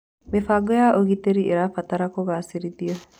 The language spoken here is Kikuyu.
Mĩbango ya ũgitĩri ĩtabatara kũgacĩrithio.